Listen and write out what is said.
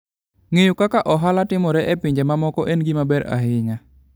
Ng'eyo kaka ohala timore e pinje mamoko en gima konyo ahinya.